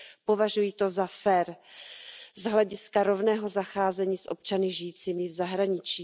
Považuji to za fér z hlediska rovného zacházení s občany žijícími v zahraničí.